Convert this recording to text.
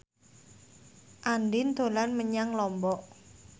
Andien dolan menyang Lombok